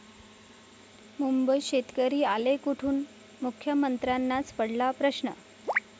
मुंबईत शेतकरी आले कुठून? मुख्यमंत्र्यांनाच पडला प्रश्न!